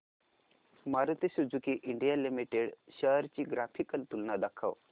Maruti Suzuki India limited shares ची graphical तुलना दाखव